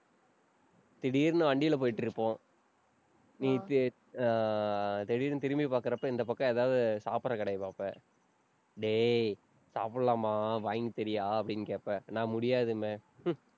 திடீர்ன்னு வண்டியில போயிட்டு இருப்போம். நேத்து ஆஹ் திடீர்ன்னு திரும்பி பாக்குறப்ப இந்த பக்கம் ஏதாவது சாப்பிடுற கடையை பார்ப்ப டேய் சாப்பிடலாமா? வாங்கி தர்றியா? அப்படின்னு கேட்ப நான் முடியாதுபேன். ஹம்